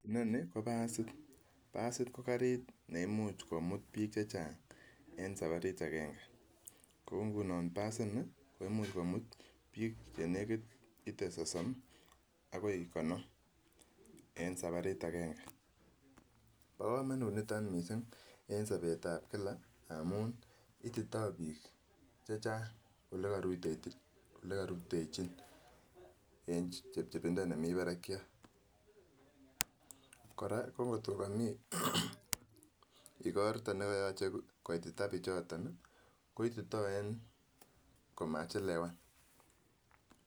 Inonii ko basit, basiit ko kariit neimuch komut biik chechang en sabarit akeng'e, kouu ng'unon basinii komuch komut biik chenekit itee sosom akoii konom en sabarit akeng'e, bokomonut niton mising en sobetab kila amuun itito biik chechang olekorutechin en chebchebindo nemii barakyat, kora ko kot ko komii ikorto nekoyoche koitita bichoton koitito en komachelewan.